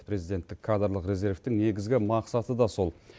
президенттік кадрлық резервтің негізгі мақсаты да сол